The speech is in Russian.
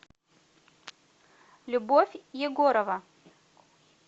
любовь егорова